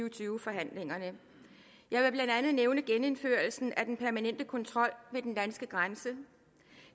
og tyve forhandlingerne jeg vil blandt andet nævne genindførelsen af den permanente kontrol ved den danske grænse